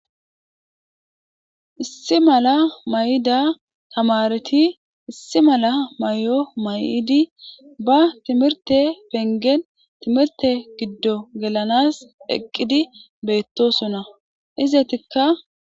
Issi mala Mayidda tamareti issi mala mayo mayidi ba timirte penggen timirtte giddon gellanas eqqidi beetosona ezetika.